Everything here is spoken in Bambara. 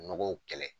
Nɔgɔw kɛlɛ